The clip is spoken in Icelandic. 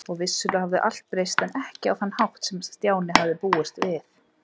Og vissulega hafði allt breyst, en ekki á þann hátt sem Stjáni hafði búist við.